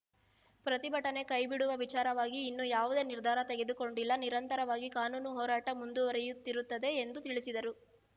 ಪ್ರತಿಭಟನೆ ಕೈಬಿಡುವ ವಿಚಾರವಾಗಿ ಇನ್ನೂ ಯಾವುದೇ ನಿರ್ಧಾರ ತೆಗೆದುಕೊಂಡಿಲ್ಲ ನಿರಂತರವಾಗಿ ಕಾನೂನು ಹೋರಾಟ ಮುಂದುವರೆಯುತ್ತಿರುತ್ತದೆ ಎಂದು ತಿಳಿಸಿದರು